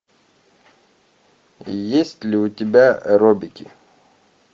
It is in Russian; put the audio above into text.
есть ли у тебя робики